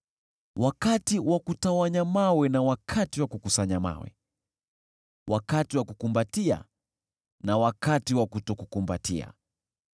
wakati wa kutawanya mawe na wakati wa kukusanya mawe, wakati wa kukumbatia na wakati wa kutokumbatia,